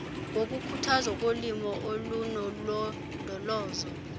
wokukhuthazwa kolimo olunolondolozo